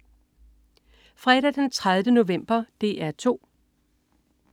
Fredag den 30. november - DR 2: